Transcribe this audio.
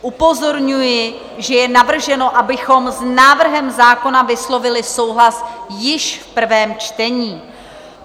Upozorňuji, že je navrženo, abychom s návrhem zákona vyslovili souhlas již v prvém čtení.